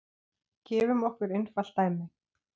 Gefum okkur einfalt dæmi.